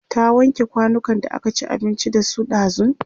ta wanke kwanukan da aka ci abinci da su ɗazun?